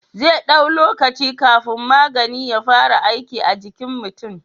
Zai dau lokaci kafin magani ya fara aiki a jikin mutin